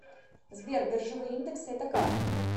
сбер биржевые индексы это как